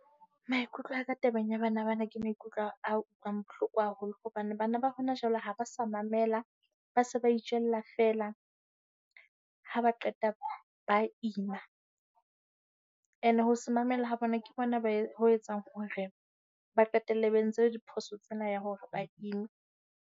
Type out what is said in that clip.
Maikutlo a ka tabeng ya bana bana, ke maikutlo a utlwang bohloko haholo. Hobane bana ba hona jwale ha ba sa mamela, ba se ba itjella feela. Ha ba qeta ba ima, and ho se mamele ha bona ke bona ho etsang hore ba qetelle ba entse diphoso tsena ya hore ba ime.